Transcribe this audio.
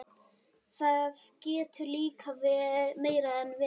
Það getur líka meira en verið.